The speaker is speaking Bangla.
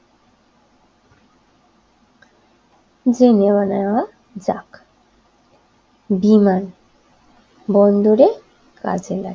জেনে নেওয়া যাক বিমানবন্দরে কাজে লাগে